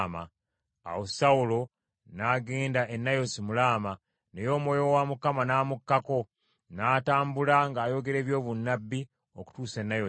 Awo Sawulo n’agenda e Nayosi mu Laama, naye Omwoyo wa Mukama n’amukkako, n’atambula ng’ayogera eby’obunnabbi okutuuka e Nayosi.